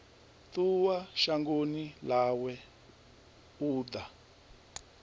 ṱuwa shangoni ḽawe u ḓa